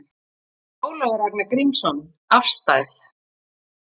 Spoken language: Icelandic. Ólafur Ragnar Grímsson: Afstæð?